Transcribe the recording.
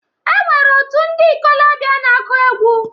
E nwere òtù ndi ikolobia na-aku egwu.